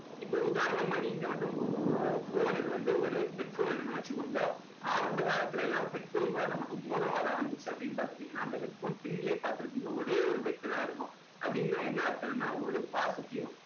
இப்போ உதாரணமா நீங்க வந்து உங்க உங்க phone க்கு வந்து ஒரு headphone இருக்குன்னு வச்சுக்கோங்க ஆரம்ப காலத்துல எல்லாம் headphone கூட நமக்கு mono வா தான் வந்துச்சு அப்படின்னு பாத்துக்கிட்டீங்கன்னா அந்த headphone pin லயே பார்த்து இருப்பீங்க ஒரே ஒரு வெட்டு தான் இருக்கும் அப்படின்னா என்ன அர்த்தம்னா ஒரு positive